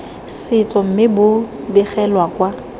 setso mme bo begela kwa